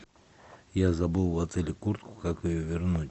я забыл в отеле куртку как ее вернуть